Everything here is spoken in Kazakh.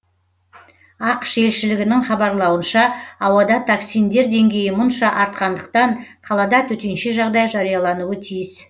ақш елшілігінің хабарлауынша ауада токсиндер деңгейі мұнша артқандықтан қалада төтенше жағдай жариялануы тиіс